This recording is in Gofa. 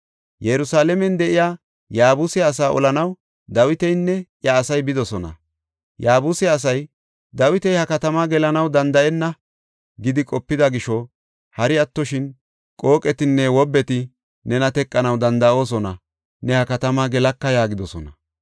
Yerusalaamen de7iya Yaabuse asaa olanaw Dawitinne iya asay bidosona. Yaabuse asay, “Dawiti ha katamaa gelanaw danda7enna” gidi qopida gisho hari attoshin, “Qooqetinne wobbeti nena teqanaw danda7oosona; ne ha katamaa gelaka” yaagidosona.